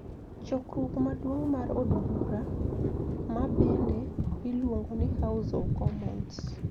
Chokruok maduong mar od bura, ma bende iluongo ni House of Commons